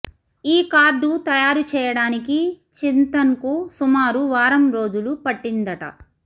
ఈ కార్డు తయారు చేయడానికి చింతన్కు సుమారు వారం రోజులు పట్టిందట